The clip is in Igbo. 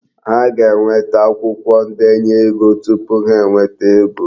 Ha ga-enweta akwụkwo ndenye ego tupu ha enweta ego.